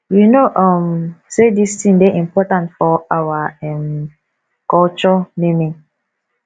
you no um say dis thing dey important for our um culture naming